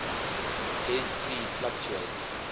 dead sea fluctuates